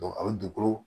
a bɛ dugukolo